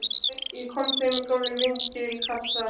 Ég kom þeim fyrir í gömlum vindlakassa.